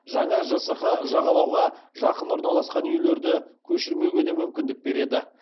жаңа жсқ жағалауға жақын орналасқан үйлерді көшірмеуге де мүмкіндік береді